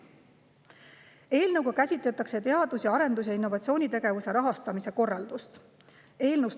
Eelnõus käsitletakse teadus‑, arendus- ja innovatsioonitegevuse rahastamise korraldust.